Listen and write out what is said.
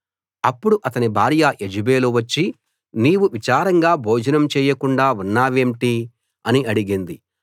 అప్పుడు అతని భార్య యెజెబెలు వచ్చి నీవు విచారంగా భోజనం చేయకుండా ఉన్నావేంటి అని అడిగింది